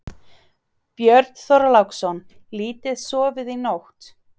Björn Þorláksson: Lítið sofið í nótt?